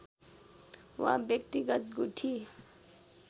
वा व्यक्तिगत गुठी